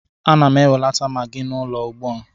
Ana m enwelata Magị n'ụlọ ugbua